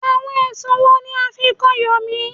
Àwọn ẹ̀sùn wo ní a fí kàn Yomi?